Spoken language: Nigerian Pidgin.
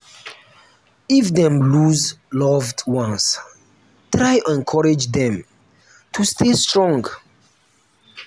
if dem loose loved ones try encourage dem to stay strong